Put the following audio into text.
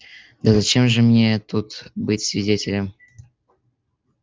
да зачем же мне тут быть свидетелем